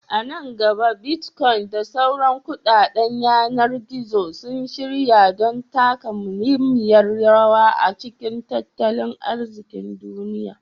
A nan gaba, Bitcoin da sauran kuɗaɗen yanar gizo sun shirya don taka muhimmiyar rawa a cikin tattalin arzikin duniya.